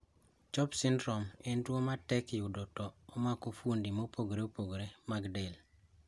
CHOPS syndrome en tuo matek yudo to omako fuondi maopogore opogore mag del.